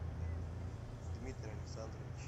дмитрий александрович